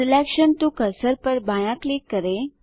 selection to cursor पर बायाँ click करें